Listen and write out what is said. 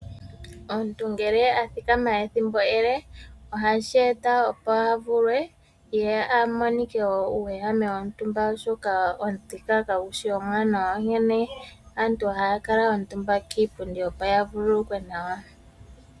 Omuntu ngele a thikama ethimbo ele, ohashi eta opo a vulwe, ye a monike uuwehame womtumba oshoka omuthika kagu shi omwaanawa, onkene aantu ohaya kala omutumba kiipundi opo ya vululukwe nawa.